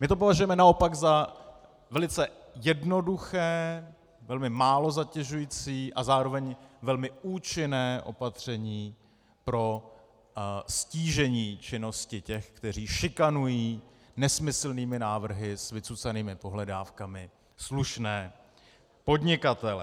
My to považujeme naopak za velice jednoduché, velmi málo zatěžující a zároveň velmi účinné opatření pro ztížení činnosti těch, kteří šikanují nesmyslnými návrhy s vycucanými pohledávkami slušné podnikatele.